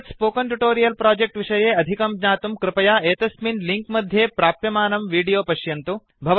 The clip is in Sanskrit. एतत् स्पोकन् ट्युटोरियल् प्रोजेक्ट् विषये अधिकं ज्ञातुं कृपया एतस्मिन् लिङ्क् मध्ये प्राप्यमानं विडोयो पश्यन्तु